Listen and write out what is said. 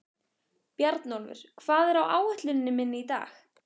Bjarnólfur, hvað er á áætluninni minni í dag?